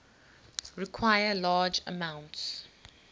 require large amounts